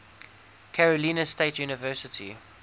carolina state university